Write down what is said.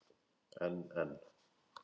En en.